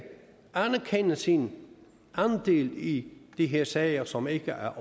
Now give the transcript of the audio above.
anerkende sin andel i de her sager som ikke